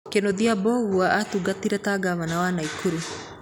Kĩnũthia Mbũgua aatungatire ta ngavana wa Naikuru